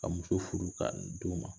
Ka muso furu k'a muso furu d'u ma